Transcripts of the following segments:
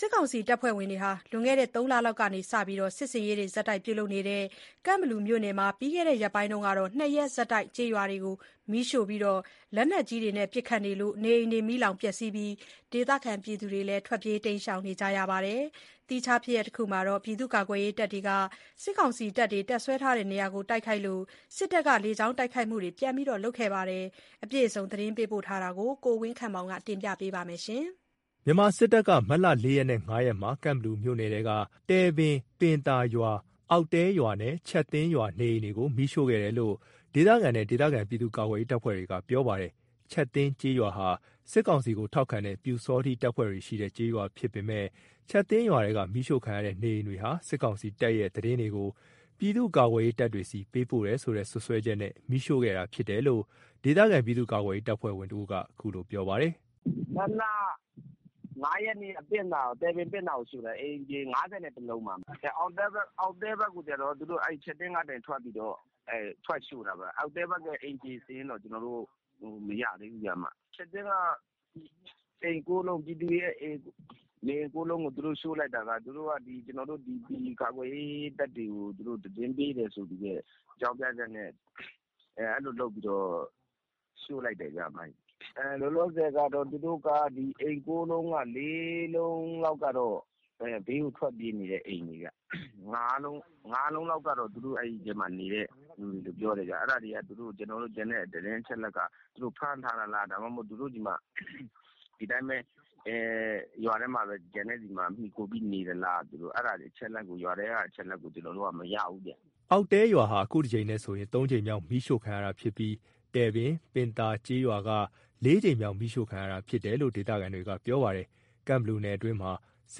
စစ်ကောင်စီတပ်ဖွဲ့တွေ လွန်ခဲ့တဲ့ ၃ လလောက်ကစပြီး စစ်ဆင်ရေးတွေပြုလုပ်နေတဲ့ ကန့်ဘလူမြို့နယ်မှာ ပြီးခဲ့တဲ့ ရက်ပိုင်းကတော့ ၂ ရက်ဆက်တိုက် ကျေးရွာတွေကို မီးရှို့၊ လက်နက်ကြီးတွေနဲ့လည်း ပစ်ခတ်လို့ နေအိမ်တွေမီးလောင်ပြီး ဒေသခံတွေလည်း ထွက်ပြေးနေကြရပါတယ်။ သီးခြားဖြစ်ရပ်မှာတော့ ပြည်သူ့ကာကွယ်ရေးတပ်တွေက စစ်ကောင်စီတပ် တပ်ဆွဲထားတဲ့နေရာကို တိုက်ခိုက်လို့ စစ်တပ်ကလေကြောင်းတိုက်ခိုက်မှုပြန်လုပ်ခဲ့ပါတယ်။ အပြည့်အစုံ သတင်းပေးပို့ချက်ကို ကိုဝင်းခန့်မောင်က ပြောပြပေးပါမယ်။ မြန်မာစစ်တပ်က မတ်လ ၄ ရက်နဲ့ ၅ ရက်မှာ ကန့်ဘလူမြို့နယ်ထဲက တည်ပင်(ပင်သာ)ရွာ၊ အောက်တဲရွာနဲ့ ချပ်သင်းရွာ နေအိမ်တွေကို မီးရှို့ခဲ့တယ်လို့ ဒေသခံတွေနဲ့ ဒေသခံ ပြည်သူ့ကာကွယ်ရေးတပ်ဖွဲ့တွေက ပြောပါတယ်။ ချပ်သင်းကျေးရွာဟာ စစ်ကောင်စီကိုထောက်ခံတဲ့ ပျူစောထီးတပ်ဖွဲ့တွေရှိတဲ့ ကျေးရွာဖြစ်ပေမယ့် ချပ်သင်းရွာထဲက မီးရှို့ခံရတဲ့ နေအိမ်တွေဟာ စစ်ကောင်စီတပ်တွေရဲ့ သတင်းတွေကို ပြည်သူကာကွယ်ရေးတပ်ဖွဲ့တွေဆီကို ပေးပို့တယ်ဆိုတဲ့ စွပ်စွဲချက်နဲ့ မီးရှို့ခဲ့တာဖြစ်တယ်လို့ ဒေသခံ ပြည်သူ့ကာကွယ်ရေး တပ်ဖွဲ့ဝင်တစ်ဦးက ခုလိုပြောပြပါတယ်။ “မတ်လ ၅ ရက်နေ့က တည်ပင်(ပင့်သာ)ကို မီးရှို့တာ အိမ်က ၅၁ လုံးပါ။ အောက်တဲဖက်ကိုကျတော့ သူတို့ ချပ်သင်းကနေ ထွက်ပြီးတော့ ရှို့တာပေါ့၊ အောက်တဲဖက်က အိမ်ခြေ စာရင်းကတော့ ကျွန်တော်တို့ မရသေးဘူးဗျ။ ချပ်သင်းက ပြည်သူတွေရဲ့ အိမ် ၉ လုံးကို ရှို့လိုက်တာက ဒီကာကွယ်ရေး တပ်တွေကို သူတို့ သတင်းပေးတယ်ဆိုတဲ့ အကြောင်းပြချက်နဲ့ အဲ့လိုလုပ်ပြီးတော့ ရှို့လိုက်တယ်ဗျ။ လောလောဆယ်က အိမ် ၉ လုံးက ၄ လုံးလောက်ကတော့ ဘေးကိုထွက်ပြေးနေတဲ့ အိမ်တွေဗျ။ ၅ လုံးလောက်ကတော့ သူတို့ အဲ့ဒီထဲမှာ နေတဲ့သူတွေလို့ ပြောတယ်ဗျ။ ကျန်တဲ့ အချက်အလက်ကတော့ ကျွန်တော်တို့ သူတို့ဆီမှာ ဖမ်းထားတာလား ဒီတိုင်းပဲကျန်တဲ့ ရွာထဲက အိမ်တွေမှာ မှီခိုပြီးနေသလား အဲ့လို ရွာထဲက အချက်အလက်ကိုတော့ ကျွန်တော်တို့ မရဘူးဗျ။” အောက်တဲရွာဟာ ခုတစ်ကြိမ်နဲ့ဆိုရင် ၃ ကြိမ်မြောက် မီးရှို့ခံရတာဖြစ်ပြီး၊ တည်ပင်(ပင့်သာ) ကျေးရွာက ၄ ကြိမ်မြောက် မီးရှို့ခံရတာဖြစ်တယ်လို့ ဒေသခံတွေက ပြောပါတယ်။ ကန့်ဘလူနယ်အတွင်းမှာ စ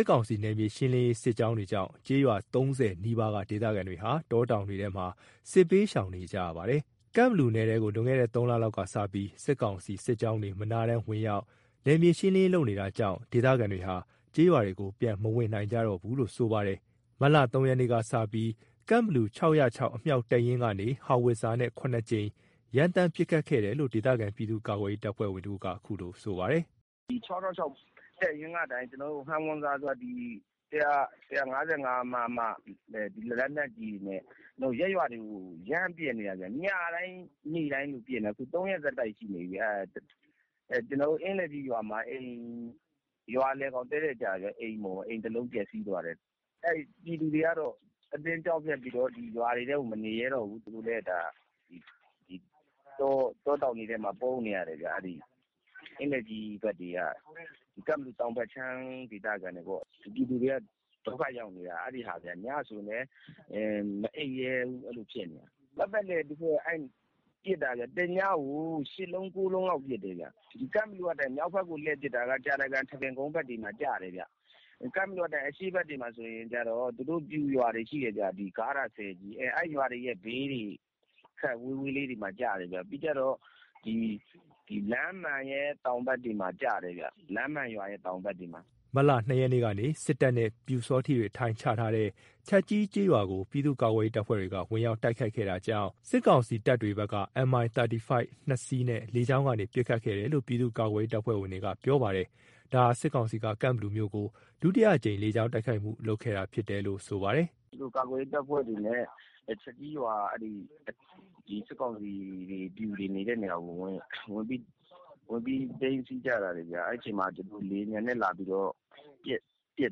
စ်ကောင်စီရဲ့ နယ်မြေရှင်းလင်းရေး စစ်ကြောင်းတွေကြောင့် ကျေးရွာ ၃၀ နီးပါးက ဒေသခံတွေဟာ တောတောင်တွေထဲမှာ စစ်ဘေးရှောင်နေကြရပါတယ်။ ကန့်ဘလူနယ်ထဲကို လွန်ခဲ့တဲ့ ၃ လလောက်ကစပြီး စစ်ကောင်စီ စစ်ကြောင်းတွေ မရပ်မနားဝင်ရောက်ပြီး နယ်မြေရှင်းလင်းရေး လုပ်နေတာကြောင့် ဒေသခံတွေဟာ ကျေးရွာတွေကို ပြန်မဝင်နိုင်ကြသေးဘူးလို့ ဆိုပါတယ်။ မတ်လ ၃ ရက်နေ့ကစပြီး ကန့်ဘလူ ၆၀၀၆ အမြောက်တပ်ရင်းကနေ ဟောင်ဝစ်ဇာနဲ့ ၇ ကြိမ် ရမ်းသမ်းပစ်ခတ်ခဲ့တယ်လို့ ဒေသခံ ပြည်သူ့ကာကွယ်ရေး တပ်ဖွဲ့ဝင်တစ်ဦးက ခုလိုပြောပါတယ်။ “၆၀၀၆ တပ်ရင်းကနေ ဟောင်ဝစ်ဇာဆိုတာ ဒီ ၁၅၅ မမ လက်နက်ကြီးတွေနဲ့ ရပ်ရွာတွေကို လှမ်းပစ်နေတာဗျ၊ ညတိုင်း နေ့တိုင်းကို ပစ်နေတာ ခု ၃ ရက် ဆက်တိုက်ကို ဖြစ်နေပြီဗျာ။ အင်းလယ်ကြီးရွာမှာ ရွာလယ်ကောင်တည့်တည့်ကိုကျတာ အိမ်တစ်လုံး ပျက်စီးသွားတယ်။ ပြည်သူတွေကတော့ ကြောက်လန့်ပြီးတော့ အတင်းပဲ ရွာတွေထဲမှာ မနေရဲတော့ဘူး သူတို့လည်း တောတောင်တွေထဲမှာ ပုန်းနေရတယ်ဗျ အင်းလယ်ကြီးဖက်တွေက၊ ကန့်ဘလူတောင်ဖက်ခြမ်းဒေသတွေပေါ့။ ပြည်သူတွေက ဒုက္ခရောက်နေတာဗျ၊ ညဆိုရင်လည်း မအိပ်ရဲဘူး အဲ့လိုဖြစ်နေတာ။ ပတ်ပတ်လည်ကိုပစ်တာ။ တညကို ၈ လုံး၊ ၉ လုံးလောက်ပစ်တယ်ဗျ။ ကန့်ဘလူကနေ မြောက်ဖက်ကို လှည့်ပစ်တာက ကြာတကန်၊ ထန်းပင်ကုန်း ဖက်ကို ကျတယ်ဗျ။ ကန့်ဘလူကနေ အရှေ့ဖက်တွေမှာ ဆိုရင်ကျတော့ သူတို့ ပျူရွာတွေရှိတယ်ဗျ။ ဂါးထာ၊ ဆည်ကြီးတို့ဘာတို့ အဲ့ဘေးတွေ၊ ခပ်ဝေးဝေးလေးတွေကို ကျတယ်ဗျ။ ပြီးတော့ လမ်းမှန်ရွာရဲ့ တောင်ဖက်တွေမှာ ကျတယ်ဗျ။” မတ်လ ၂ ရက်နေ့က စစ်တပ်နဲ့ ပျူစောထီးတွေ အထိုင်ချထားတဲ့ ချပ်ကြီးကျေးရွာကို ပြည်သူ့ကာကွယ်ရေးတပ်ဖွဲ့တွေက ဝင်ရောက် တိုက်ခိုက်ခဲ့တာကြောင့် စစ်ကောင်စီတပ်တွေဖက်က MI 35 ၂ စီးနဲ့ လေကြောင်းကနေ ပစ်ခတ်ခဲ့တယ်လို့ ပြည်သူ့ကာကွယ်ရေး တပ်ဖွဲ့တွေက ပြောပါတယ်။ ဒါဟာ စစ်ကောင်စီက ကန့်ဘလူမြို့ကို ဒုတိယအကြိမ် လေကြောင်းတိုက်ခိုက်မှု လုပ်ခဲ့တာဖြစ်တယ်လို့ ဆိုပါတယ်။ “သူတို့ကာကွယ်ရေး တပ်ဖွဲ့တွေနဲ့ ချပ်ကြီးရွာ စစ်ကောင်စီတွေ ပျူတွေနေတဲ့ ရွာကို ဝင်ပြိးတော့ စီးကြတယ်ဗျာ။ အဲ့ဒီမှာ လေယာဉ်ပျံနဲ့ လာပြီးတော့ ပစ်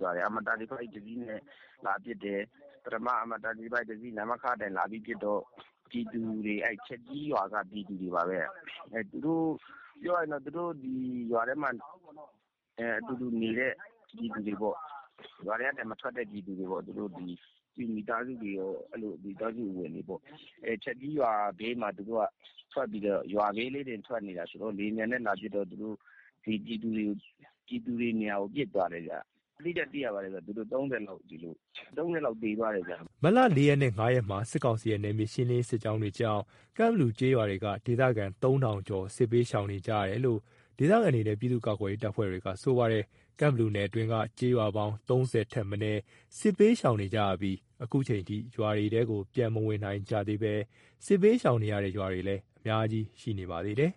သွားတယ်၊ Mi 35 ၂စီးနဲ့ လာပြီးတော့ ပစ်တယ်။ ပထမ Mi 35 တစ်စီး နမခ ကနေ လာပြီးပစ်တော့ ပြည်သူတွေ၊ ချပ်ကြီးရွာက ပြည်သူတွေပါပဲ သူတို့ ရွာထဲမှာ နေတဲ့ ပြည်သူတွေပေါ့၊ ရွာထဲကနေ မထွက်တဲ့ ပျူမိသားစုတွေ ပြည်သူတွေပေါ့၊ ချပ်ကြီးရွာဘေးမှာ ရွာဘေးလေးတင် ထွက်နေတာဆိုတော့ လေယာဉ်ပျံနဲ့ လာပစ်တော့ ပြည်သူတွေနေရာကို ပစ်သွားတယ်ဗျ။ အတိအကျသိရပါတယ်ဗျ၊ ၃၀ လောက်သေသွားပါတယ်။” မတ်လ ၄ ရက်နဲ့ ၅ ရက်မှာ စစ်ကောင်စီရဲ့ နယ်မြေရှင်းလင်းရေး စစ်ကြောင်းတွေကြောင့် ကန့်ဘလူနယ်ကျေးရွာတွေက ဒေသခံ ၃,၀၀၀ ကျော် စစ်ဘေးရှောင်နေကြရတယ်လို့ ဒေသခံတွေနဲ့ ပြည်သူ့ကာကွယ်ရေး တပ်ဖွဲ့တွေက ဆိုပါတယ်။ ကန့်ဘလူနယ်အတွင်းက ကျေးရွာပေါင်း ၃၀ ထက်မနည်း စစ်ဘေးရှောင်နေကြရပြီး ခုအချိန်ထိ ရွာတွေထဲကို ပြန်မဝင်နိုင်ကြသေးဘဲ စစ်ဘေးရှောင်နေရတဲ့ ရွာတွေလည်း အများကြီးရှိပါတယ်။